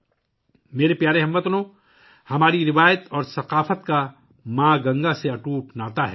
میرے پیارے ہم وطنو، ہماری روایت اور ثقافت کا ماں گنگا سے اٹوٹ رشتہ ہے